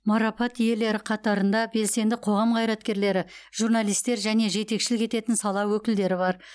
марапат иелері қатарында белсенді қоғам қайраткерлері журналистер және жетекшілік ететін сала өкілдері бар